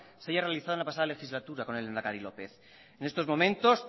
se haya realizado en la pasada legislatura con el lehendakari lópez en estos momentos